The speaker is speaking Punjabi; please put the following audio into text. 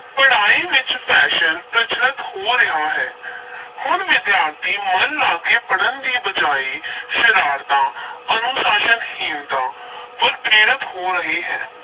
ਪੜ੍ਹਾਈ ਵਿਚ fashion ਪ੍ਰਚਲਤ ਹੋ ਰਿਹਾ ਹੈ ਹੁਣ ਵਿਦਿਆਰਥੀ ਮਨ ਲਾ ਕੇ ਪੜ੍ਹਨ ਦੀ ਬਜਾਏ ਸ਼ਰਾਰਤਾਂ ਅਨੁਸ਼ਾਸਨਹੀਣਤਾ ਵੱਲ ਪ੍ਰੇਰਤ ਹੋ ਰਹੇ ਹੈ।